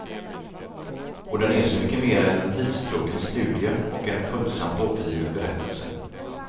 Och den är så mycket mer än en tidstrogen studie och en följsamt återgiven berättelse.